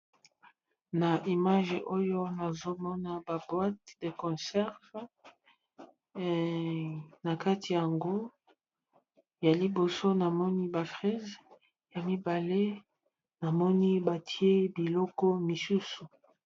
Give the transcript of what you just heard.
Na image oyo nazomona ba boîte ya concerve nakati yango ya liboso namomi batye ba fritte ya miba batye bikolo mosusu.